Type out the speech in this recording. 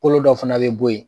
Kolo dɔ fana bɛ bɔ yen.